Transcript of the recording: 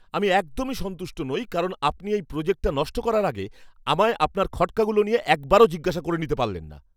আমি একদমই সন্তুষ্ট নই কারণ আপনি এই প্রোজেক্টটা নষ্ট করার আগে আমায় আপনার খটকাগুলো নিয়ে একবারও জিজ্ঞাসা করে নিতে পারলেন না!